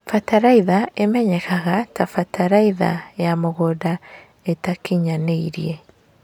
bataraitha imenyekanaga ta bataraitha ya mũgũnda ĩtakinyanĩire